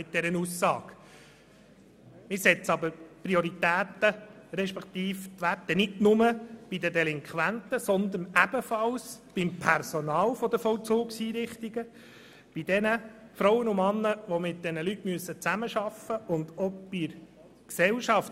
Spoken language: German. Allerdings setzen wir die Prioritäten, beziehungsweise die Werte, nicht nur bei den Delinquenten, sondern ebenfalls beim Personal der Vollzugseinrichtungen, bei denjenigen Frauen und Männern, die mit diesen Leuten zusammenarbeiten müssen, und auch bei der Gesellschaft.